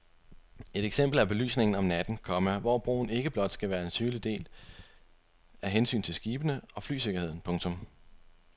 Et eksempel er belysningen om natten, komma hvor broen ikke blot skal være synlig af hensyn til skibene og flysikkerheden. punktum